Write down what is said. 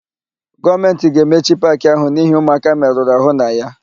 Gọọmentị ga-emechi paakị áhụ̀ n'ihi ụmụaka merụrụ àhụ́ na ya.